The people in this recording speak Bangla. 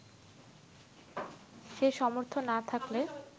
সে সামর্থ না থাকলে